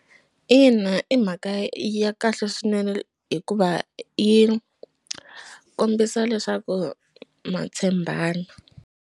Ina i mhaka ya kahle swinene hikuva yi kombisa leswaku ma tshembana.